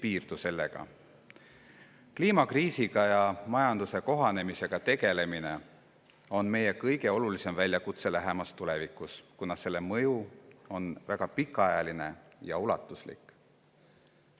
on meie kõige olulisem väljakutse lähimas tulevikus, kuna mõju on väga pikaajaline ja ulatuslik.